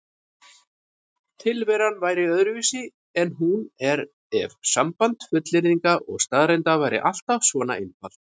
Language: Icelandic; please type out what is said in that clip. Tilveran væri öðruvísi en hún er ef samband fullyrðinga og staðreynda væri alltaf svona einfalt.